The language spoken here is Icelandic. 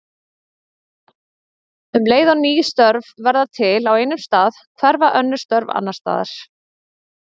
Um leið og ný störf verða til á einum stað hverfa önnur störf annars staðar.